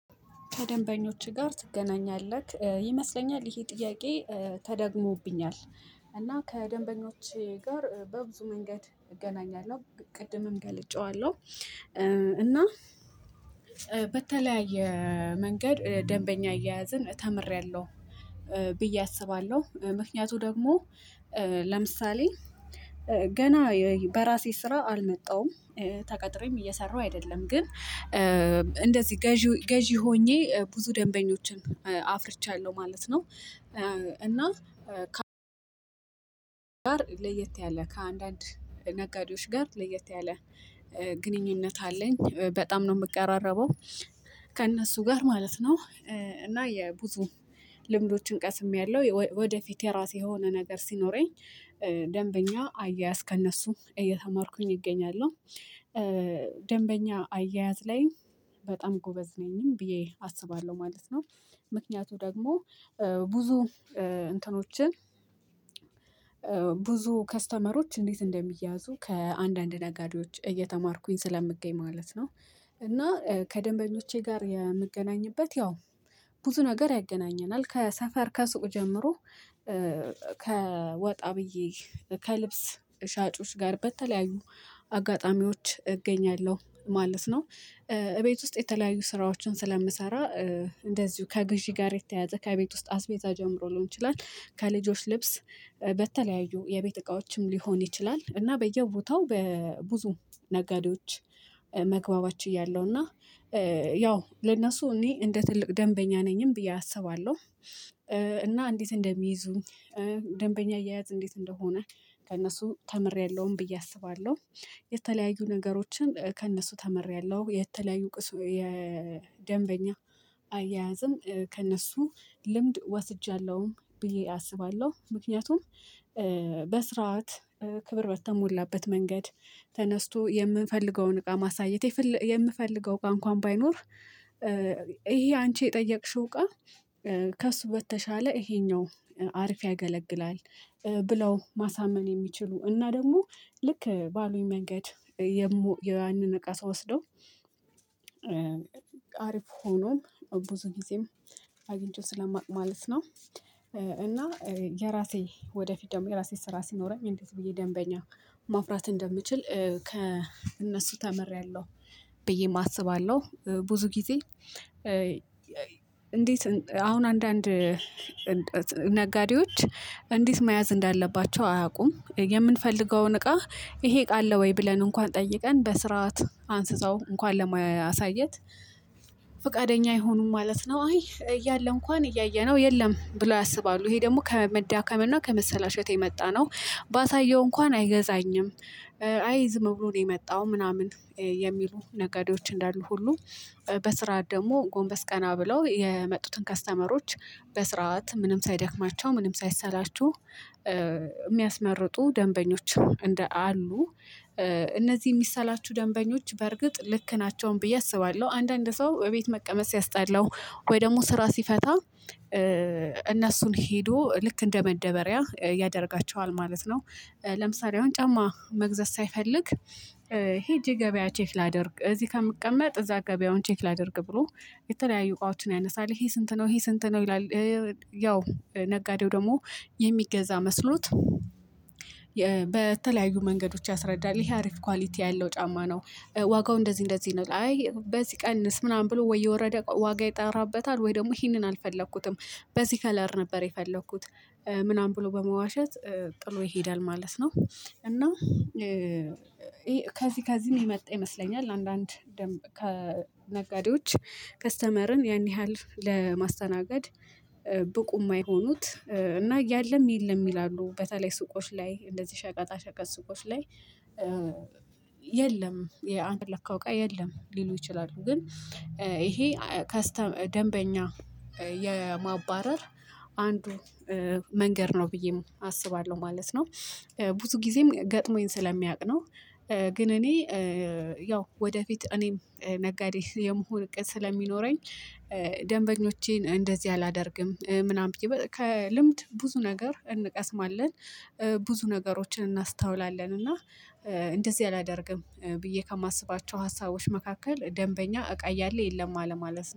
ከደንበኞችህ ጋር ትገናኛለህ ይመስለኛል ይሄ ጥያቄ ተደግሞብኛል? እና ከደንበኞቼ ጋር በብዙ መንገድ እገናኛለሁ ቅድምም ገልጨዋለሁ። እና በተለያየ መንገድ ደንበኛ አያያዝን ተምሬያለሁ ብዬ አስባለሁ ምክንያቱ ደግሞ። ለምሳሌ ገና በራሴ ስራ አልመጣውም። ተቀጥሬም እየሰራሁ አይደለም ግን እንደዚህ ገዢ ገዢ ሆኜ ብዙ ደንበኞችን አፍርቻለሁ ማለት ነው። እና ከአራት ጋር ለየት ያለ ከአንዳንድ ነጋዴዎች ጋር ለየት ያለ ግንኙነት አለኝ በጣም ነው የምቀራረበው ከእነሱ ጋር ማለት ነው። እና የብዙ ልምዶችን ቀስሜያለሁ ወደፊት የራሴ የሆነ ነገር ሲኖረኝ ደንበኛ አያያዝ ከእነሱ እየተማርኩኝ እገኛለሁ። ደንበኛ አያያዝ ላይ በጣም ጎበዝ ነኝም ብዬ አስባለሁ ማለት ነው። ምክንያቱ ደግሞ ብዙ እንትኖችን ብዙ ከስተመሮች እንዴት እንደሚያዙ ከአንዳንድ ነጋዴዎች እየተማርኩኝ ስለምገኝ ማለት ነው። እና ከደንበኞቼ ጋር የምገናኝበት ያው ብዙ ነገር ያገናኘናል ከሰፈር ከሱቅ ጀምሮ ከወጣ ብዬ ከልብስ ሻጮች ጋር በተለያዩ አጋጣሚዎች እገኛለሁ ማለት ነው። እቤት ውስጥ የተለያዩ ስራዎችን ስለምሰራ እንደዚሁ ከግዢ ጋር የተያያዘ ከቤት ውስጥ አስቤዛ ጀምሮ ልሆን ይችላል ከልጆች ልብስ በተለያዩ የቤት እቃዎችም ሊሆን ይችላል። እና በየቦታው በብዙ ነጋዴዎች መግባባት ችያለው እና ያው ለነሱ እኔ እንደ ትልቅ ደንበኛ ነኝም ብዬ አስባለሁ። እና እንዴት እንደሚይዙ ደንበኛ አያያት እንዴት እንደሆነ ከእነሱ ተምሬያለሁም ብዬ አስባለሁ። የተለያዩ ነገሮችን ከእነሱ ተመሪያለሁ የተለያዩ የደንበኛ አያያዝም ከእነሱ ልምድ ወስጃለሁም ብዬ አስባለሁ። ምክንያቱም በስርዓት ክብር በተሞላበት መንገድ ተነስቶ የምፈልገውን እቃ ማሳየት የምፈልገው እቃ እንኳን ባይኖር። ይሄ አንቺ የጠየቅሽው ቃል ከእሱ በተሻለ ይሄኛው አሪፍ ያገለግላል። ብለው ማሳመን የሚችሉ እና ደግሞ ልክ ባሉኝ መንገድ። ያንን እቃ ስወስደው አሪፍ ሆኖ ብዙ ጊዜም አግኝቼ ስለማቅ ማለት ነው። እና የራሴ ወደፊት ደግሞ የራሴ ስራ ሲኖረኝ እንዴት ብዬ ደንበኛ ማፍራት እንደምችል ከእነሱ ተምሬያለሁ ብዬ አስባለሁ። ብዙ ጊዜ እንዴት አሁን አንዳንድ ነጋዴዎች እንዴት መያዝ እንዳለባቸው አያውቁም የምንፈልገውን እቃ ይሄ እቃ አለ ወይ ብለን እንኳን ጠይቀን በስርዓት አንስተው እንኳን ለማያሳየት። ፈቃደኛ አይሆኑም ማለት ነው። አይ እያለ እንኳን እያየነው የለም ብለው ያስባሉ። ይሄ ደግሞ ከመዳከም እና ከመሰላሸት የመጣነው ባሳየው እንኳን አይገዛኝም። አይዝም ብሎ ነው የመጣው ምናምን የሚሉ ነገዴዎች እንዳሉ ሁሉ። በስራ ደግሞ ጎንበስ ቀና ብለው የመጡትን ከስተመሮች በስርዓት ምንም ሳይደክማቸው ምንም ሳይሰላችሁ የሚያስመርጡ ደንበኞች እንደ አሉ። እነዚህ የሚሰላቹ ደንበኞች በርግጥ ልክ ናቸውም ብዬ አስባለሁ። አንዳንድ ሰው እቤት መቀመጥ ሲያስጣለው ወይ ደግሞ ስራ ሲፈታ እነሱን ሄዶ ልክ እንደ መደበሪያ ያደርጋቸዋል ማለት ነው። ለምሳሌ አሁን ጫማ መግዛት ሳይፈልግ ሄጄ ገበያ ቼክ ላድርግ እዚህ ከምቀመጥ እዛ ገበያውን ቼክ ላድርግ ብሎ የተለያዩ እቃዎችን ያነሳል ይሄ ስንት ነው ይሄ ስንት ነው ይላል። ያው ነጋዴው ደግሞ የሚገዛ መስሎት በተለያዩ መንገዶች ያስረዳል ይሄ አሪፍ ኳሊቲ ያለው ጫማ ነው። ዋጋው እንደዚህ እንደዚህ ነው አይ በዚህ ቀንስ ምናምን ብሎ ወይ የወረደ ዋጋ ይጠራበታል ወይ ደግሞ ይሄንን አልፈለኩትም በዚህ ከለር ነበር የፈለኩት ምናምን ብሎ በመዋሸት ጥሎ ይሄዳል ማለት ነው። እና ከዚህ ከዚህ የመጣ ይመስለኛል አንዳንድ ከነጋዴዎች ከስተመርን ያን ያህል ለማስተናገድ ብቁ የማይሆኑት እና እያለም የለም ይላሉ በተለይ ሱቆች ላይ እንደዚህ ሸቀጣ ሸቀጥ ሱቆች ላይ። የለም የአንተ የፈለከው የለም ሊሉ ይችላሉ። ግን ይሄ ደንበኛ የማባረር አንዱ መንገድ ነው ብዬ አስባለሁ ማለት ነው። ብዙ ጊዜም ገጥሞኝ ስለሚያውቅ ነው። ግን እኔ ያው ወደፊት እኔም ነጋዴ የመሆን እቅድ ስለሚኖረኝ ደንበኞቼን እንደዚህ አላደርግም ምናምን ብዬ ከልምድ ብዙ ነገር እንቀስማለን። ብዙ ነገሮችን እናስተውላለን እና እንደዚህ አላደርግም ብዬ ከማስባቸው ሀሳቦች መካከል ደንበኛ እቃ እያለ የለም አለማለት